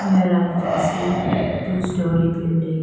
Here I can see two story building.